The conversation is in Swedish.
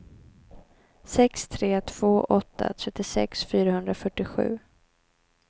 sex tre två åtta trettiosex fyrahundrafyrtiosju